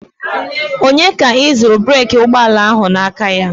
Onye ka ị zụrụ breeki ụgbọala ahụ n'aka?